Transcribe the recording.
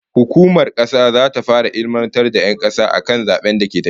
Hukumar zabe zata fara ilmantar da 'yan kasa akan zaben da ke tafe